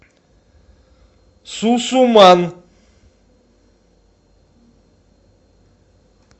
сусуман